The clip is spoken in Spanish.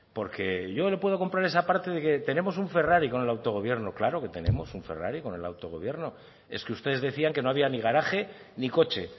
porque yo le puedo comprar esa parte de que tenemos un ferrari con el autogobierno claro que tenemos un ferrari con el autogobierno es que ustedes decían que no había ni garaje ni coche